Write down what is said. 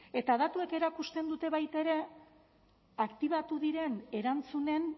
eta datuek erakusten dute baita ere aktibatu diren erantzunen